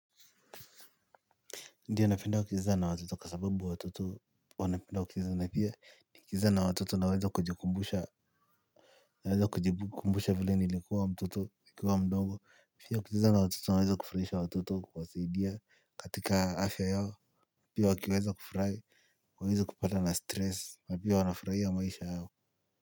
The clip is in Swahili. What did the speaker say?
Ndiyo napenda kucheza na watoto kwa sababu watoto, wanapenda wakicheza na pia, nikicheza na watoto naweza kujikumbusha, naweza kujikumbusha vile nilikuwa mtoto, nikiwa mdogo. Pia kucheza na watoto kunaweza kufurahisha watoto kuwasaidia katika afya yao, pia wakiweza kufurahi, hawawezi kupatwa na stress, na piwa wanafurahia maisha yao.